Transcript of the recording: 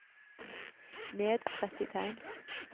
Ned tretti tegn